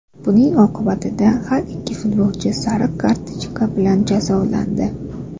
Buning oqibatida har ikki futbolchi sariq kartochka bilan jazolandi.